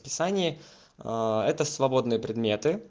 это свободные предмет